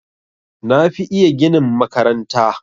Na fi iya ginin makaranta.